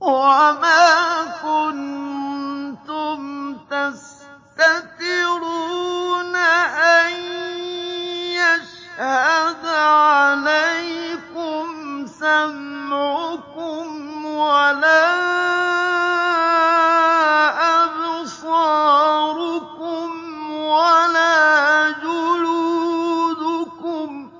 وَمَا كُنتُمْ تَسْتَتِرُونَ أَن يَشْهَدَ عَلَيْكُمْ سَمْعُكُمْ وَلَا أَبْصَارُكُمْ وَلَا جُلُودُكُمْ